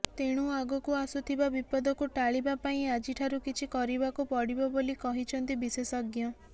ତେଣୁ ଆଗକୁ ଆସୁଥିବା ବିପଦକୁ ଟାଳିବା ପାଇଁ ଆଜିଠାରୁ କିଛି କରିବାକୁ ପଡିବ ବୋଲି କହିଛନ୍ତି ବିଶେଷଜ୍ଞ